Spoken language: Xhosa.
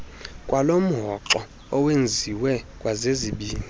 kwalomhoxo owenziwe zezizibini